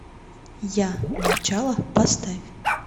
я начало поставь